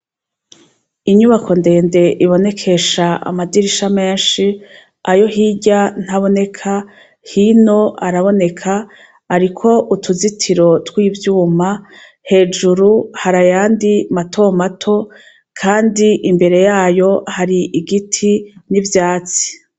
Inyubako ndende ibonekesha amadirisha menshi ayo hirya ntaboneka, hino araboneka ariko utuzitiro twivyuma hejuru hari ayandi matomato Kandi imbere yayo hari igiti n'ivvyatsi .